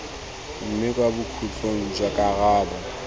mme kwa bokhutlong jwa karabo